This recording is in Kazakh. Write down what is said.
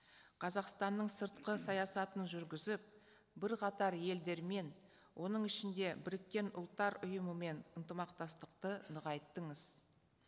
қазақстанның сыртқы саясатын жүргізіп бірқатар елдермен оның ішінде біріккен ұлттар ұйымымен ынтымақтастықты нығайттыңыз